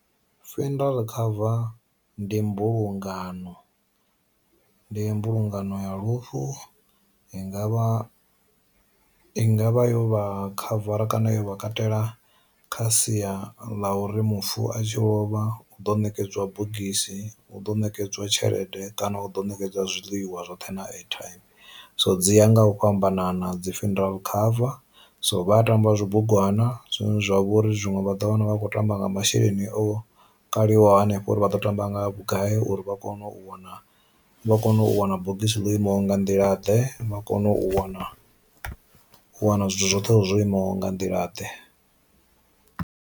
Funeral cover ndi mbulungano, ndi mbulungano ya lufu i ngavha i ngavha yo vha khavara kana yo vha katela kha sia ḽa uri mufu a tshi lovha u ḓo nekedzwa bogisi hu ḓo nekedzwa tshelede kana u ḓo nekedzwa zwiḽiwa zwoṱhe na airtym. So dzi ya nga u fhambanana dzi funeral khava, so vha tamba zwo bugwana zwine zwa vhori zwiṅwe vha ḓo wana vha khou tamba nga masheleni o kaliwaho hanefha uri vha ḓo tamba nga vhugai uri vha kone u wana vha kone u wana bogisi ḽo imaho nga nḓila ḓe, vha kone u wana u wana zwithu zwoṱhe hezwo imaho nga nḓila ḓe.